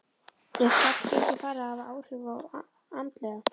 Er slæmt gengi farið að hafa áhrif andlega?